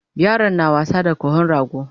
Yaran na wasa da kahon rago